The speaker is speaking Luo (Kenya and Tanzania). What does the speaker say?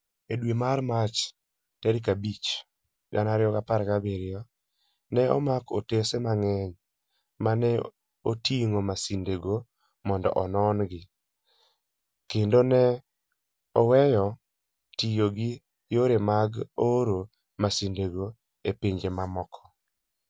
E dwe mar Mach tarik 5, 2017, ne omak otese mang'eny ma ne oting'o masindego mondo onon-gi, kendo ne oweyo tiyo gi yore mag oro masindego e pinje mamoko.